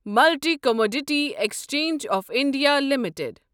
multi commodity exchange of India limited